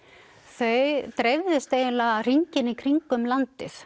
þau dreifðust eiginlega hringinn í kringum landið